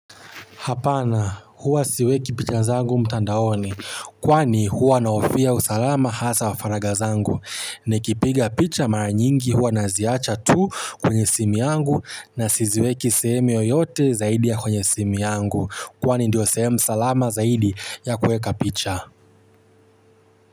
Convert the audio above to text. Hapana huwa siweki picha zangu mtandaoni kwani huwa nahofia usalama hasa wa faragha zangu. Nikipiga picha mara nyingi huwa naziacha tu kwenye simu yangu na siziweki sehemu yoyote zaidi ya kwenye simu yangu. Kwani ndio sehemu salama zaidi ya kueka picha.